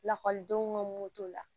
Lakɔlidenw ka mun t'o la